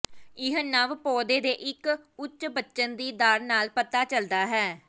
ਇਹ ਨਵ ਪੌਦੇ ਦੇ ਇੱਕ ਉੱਚ ਬਚਣ ਦੀ ਦਰ ਨਾਲ ਪਤਾ ਚੱਲਦਾ ਹੈ